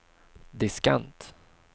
diskant